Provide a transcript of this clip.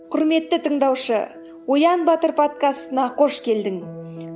құрметті тыңдаушы оян батыр подкастына қош келдің